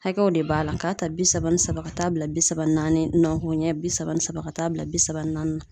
Hakɛw de b'a la, k'a ta bi saba ni saba ka taa bila bi saba ni naani, nɔgɔn ɲɛ bi saba ni saba ka taa bila bi saba ni naani na.